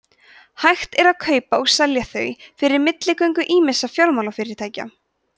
hægt er að kaupa og selja þau fyrir milligöngu ýmissa fjármálafyrirtækja